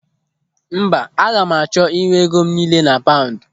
Mba, aga m achọ ịnwe ego m niile na paụndụ.